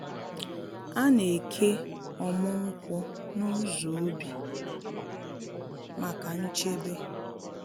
A na-eke ọmụ nkwụ n’ụzọ ubi maka nchebe.